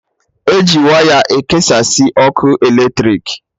Eji waya ekesasị ọkụ eletrik